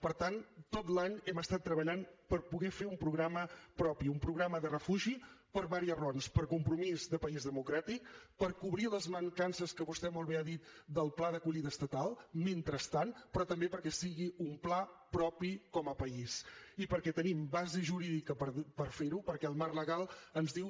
per tant tot l’any hem estat treballant per poder fer un programa propi un programa de refugi per diverses raons per compromís de país democràtic per cobrir les mancances que vostè molt bé ha dit del pla d’acollida estatal mentrestant però també perquè sigui un pla propi com a país i perquè tenim base jurídica per fer ho perquè el marc legal ens diu